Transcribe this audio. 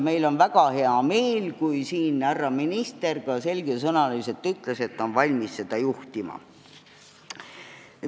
Meil on väga hea meel, et härra minister ütles siin selgesõnaliselt, et ta on valmis seda juhtima.